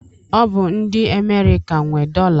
Ọ bụ ndị Amerịka nwe dọla.